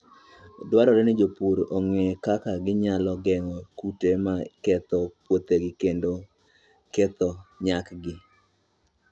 Dwarore ni jopur ong'e kaka ginyalo geng'o kute ma ketho puothegi kendo ketho nyakgi.